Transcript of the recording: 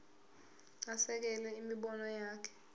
asekele imibono yakhe